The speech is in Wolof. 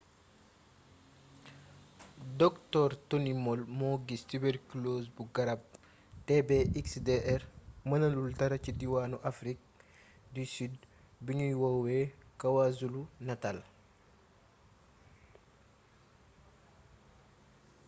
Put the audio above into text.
dr tony moll mo gis tuberculose bu garab tb-xdr mënalul dara ci diwaanu afrique du sud bi ñuy woowe kwazulu-natal